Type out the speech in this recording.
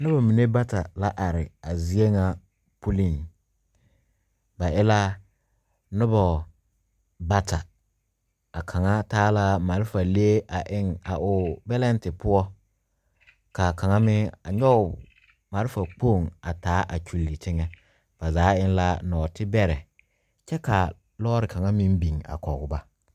Nuba mene bata la arẽ a zeɛ nga pulin ba e la nuba bata a kanga taa la marafa leɛ a eng a ɔ belente pou kaa kanga meng a nyuge marifa kpong a taa a kyuli tenga ba zaa eng la nuoti berɛ kye ka loɔri kanga meng beng a kɔg ba.